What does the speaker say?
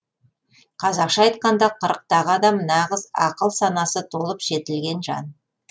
қазақша айтқанда қырықтағы адам нағыз ақыл санасы толып жетілген жан